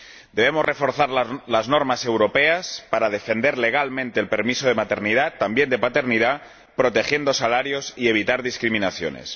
Debemos reforzar las normas europeas para defender legalmente el permiso de maternidad —también de paternidad— protegiendo salarios y evitando discriminaciones.